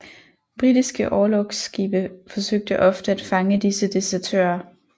Britiske orlogsskibe forsøgte ofte at fange disse desertører